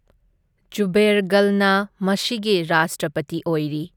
ꯖꯨꯕꯦꯔ ꯒꯜꯅ ꯃꯁꯤꯒꯤ ꯔꯥꯖꯇ꯭ꯔꯄꯇꯤ ꯑꯣꯏꯔꯤ꯫